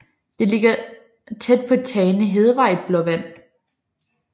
De ligger på Tane Hedevej i Blåvand